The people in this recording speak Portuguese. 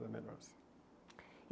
Era melhor assim.